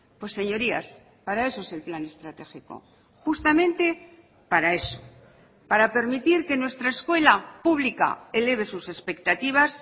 pues señorías para eso es el plan estratégico justamente para eso para permitir que nuestra escuela pública eleve sus expectativas